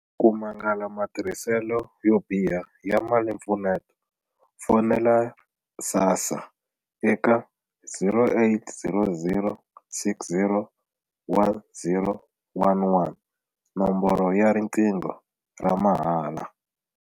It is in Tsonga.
Ku mangala matirhiselo yo biha ya malimpfuneto, fonela SASSA eka 0800 60 10 11, nomboro ya riqingho ra mahala.